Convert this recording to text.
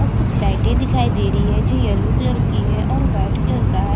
और कुछ लाइटें दिखाई दे रही है जो येलो कलर की है और वाइट कलर का हैं।